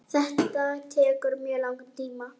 Þetta tekur mjög langan tíma.